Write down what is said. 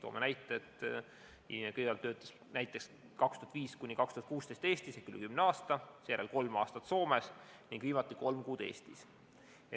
Ütleme, et inimene kõigepealt töötas 2005–2016 Eestis – ikkagi üle kümne aasta –, seejärel kolm aastat Soomes ning viimati kolm kuud Eestis.